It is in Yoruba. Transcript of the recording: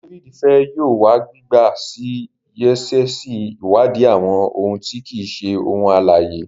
David fè yóò wa gbigba sí sáyẹnsì iwadi àwọn òun ti kii ṣe ohun alãye.